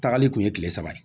Tagali kun ye kile saba ye